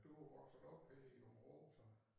Du vokset op her i Aabenraa så?